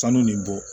Sanu nin bɔ